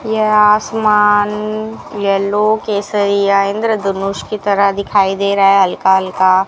यह आसमान येलो केसरिया इंद्रधनुष की तरह दिखाई दे रहा है हल्का हल्का --